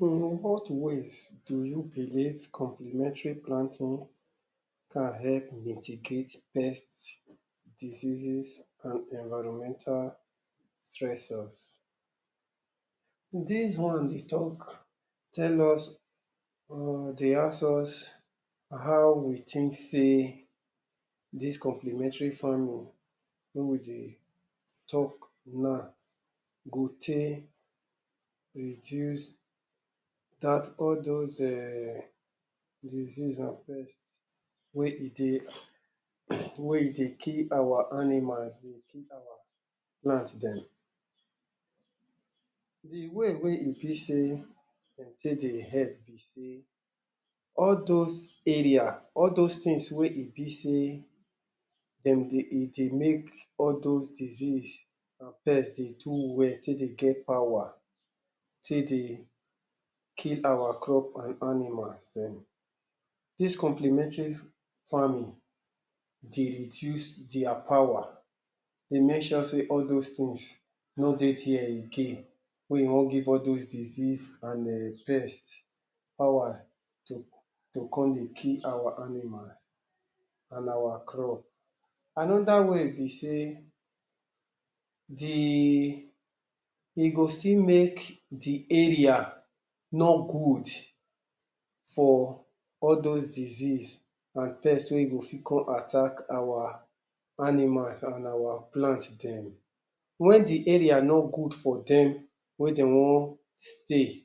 in what ways do you believe complementary planting can help mitigate pest diseases and environmental stressors dis one dey talk tell us dey ask us how we think sey dis complementary farming wey we dey talk now go take reduce dat all those um disease and pest wey e dey wey e dey kill our animals dey kill our dem the way wey e be sey de take dey help be sey all those area all those things wey e be sey dem dey e dey make all those disease pest dey do well take dey get power take dey kill our crop and animals dem dis complemantary farming dey reduce dia power e make sure sey all those things no dey dia again wey e wan give al those disease and pest power to come dey kill our animal and our crop another way be sey the e go still make the area no good for al those disease and pest wey go fit come attack our animals and our plant dem when the area no good for dem wey dey wan stay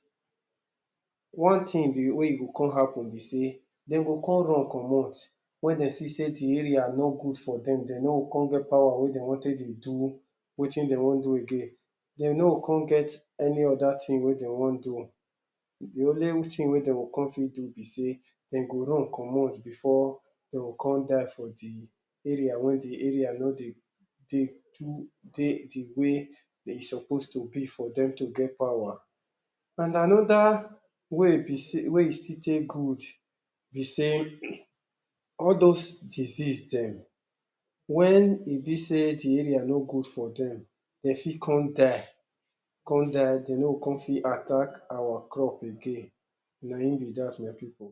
one thing wey e go come happen be sey de go come run comot when de see sey the area no good for dem de no go come get power wey dey wan come take dey do wetin dey wan do again de no go come get any other thing wey dey wan do the only thing wey dey go come fit do be sey de go run comot before de go come die for the area wey the area no dey too dey the wey e suppose to be for dem to get power and another way wey e still dey good be sey all those disease dem when e be sey the area no good for dem dey fit come die come die de no come fit attack our crop again, nayin be dat my people